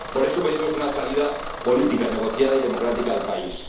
Por eso pedimos una salida política, negociada y democrática para el país.